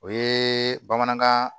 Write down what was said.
O ye bamanankan